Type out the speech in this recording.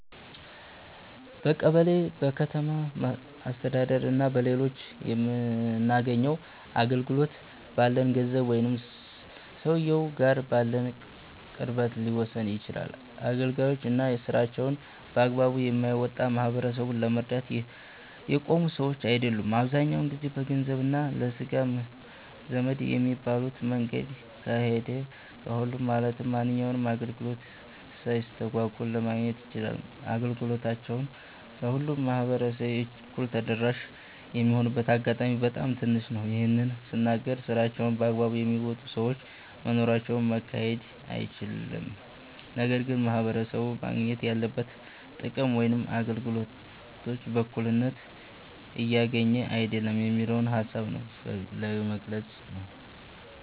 በቀበሌ፣ በከተማ አስተዳደር እና በሌሎችም የምናገኘው አገልግሎት፣ ባለን ገንዘብ ወይም ሰውየው ጋር ባለን ቅርበት ሊወሰን ይችላል። አገልጋዮች እና ስራቸውን በአግባቡ የማይወጣ፣ ማህበረሰቡን ለመርዳት የቆሙ ሰዎች አይደሉም። አብዛኛው ሰው በገንዘብ እና ለስጋ ዘመድ በሚባሉት መንገድ ከሄደ፣ ሁሉም ማለትም ማንኛውንም አገልግሎት ሳይስተጓጎል ማግኘት ይችላል። አገልግሎታቸው ለሁሉም ማህበረሰብ እኩል ተደራሽ የሚሆንበት አጋጣሚ በጣም ትንሽ ነው። ይህን ስናገር ስራቸውን በአግባቡ የሚወጡ ሰዎች መኖራቸውን መካድ አይቻልም። ነገር ግን ማህበረሰቡ ማግኘት ያለበትን ጥቅም ወይም አገልግሎት በእኩልነት እያገኘ አይደለም የሚለውን ሃሳብ ነው ለመግለፅ ነው።